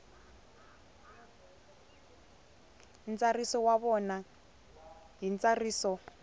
ntsariso wa vona hi ntsariso